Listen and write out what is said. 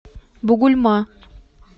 бугульма